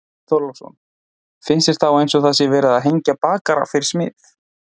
Björn Þorláksson: Finnst þér þá eins og það sé verið að hengja bakara fyrir smið?